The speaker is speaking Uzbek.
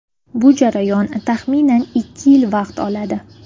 Bu jarayon taxminan ikki yil vaqt oladi.